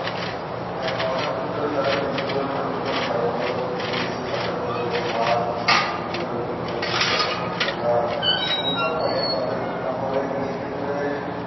হেঁ সরকার থেকে তারা বীজ গুলু সঠিক ভাবে পায়িত বীজ জপর্বেতো সার বিভন্ন প্রকারে কীটনাশক সরকার থেকে তারা উন্নদান পাইতো তা হলে কৃষি ক্ষেত্রে